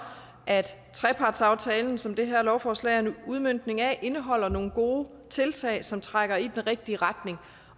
at trepartsaftalen som det her lovforslag er en udmøntning af indeholder nogle gode tiltag som trækker i den rigtige retning